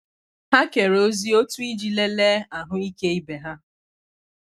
Ha kere ozi otu iji lelee ahụike ibe ha.